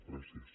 gràcies